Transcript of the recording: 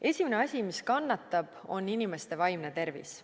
Esimene asi, mis kannatab, on inimeste vaimne tervis.